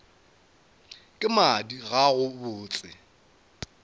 ka madi ga go botse